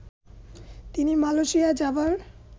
তিনি মালয়েশিয়া যাবার